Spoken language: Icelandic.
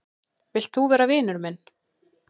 Vilt þú vera vinur minn?